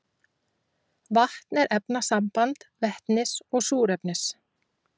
Vatn er efnasamband vetnis og súrefnis.